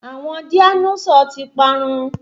Àwọn dáínósọ̀ ti parun